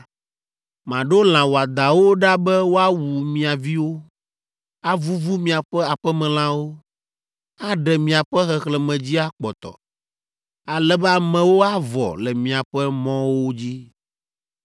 Maɖo lã wɔadãwo ɖa be woawu mia viwo, avuvu miaƒe aƒemelãwo, aɖe miaƒe xexlẽme dzi akpɔtɔ, ale be amewo avɔ le miaƒe mɔwo dzi.